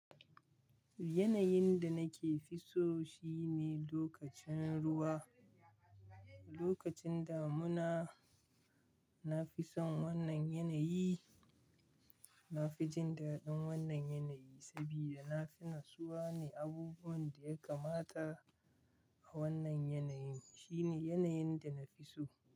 Yanayin da nake fiso shine lokacin ruwa. Lokacin damuna na fi son wannan yanayi. Na fi jin daɗin wannan yanayi saboda na fi natsuwa ne. Abubuwan da ya kamata a wannan yanayi shine yanayin da na fi so.